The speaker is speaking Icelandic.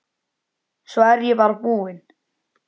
Svo er ég bara búin.